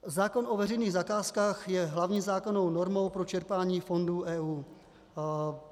Zákon o veřejných zakázkách je hlavní zákonnou normou pro čerpání fondů EU.